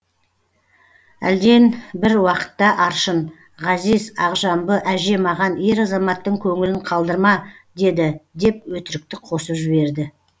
әлден бір уақытта аршын ғазиз ақжамбы әже маған ер азаматтың көңілін қалдырма деді деп өтірікті қосып жіберді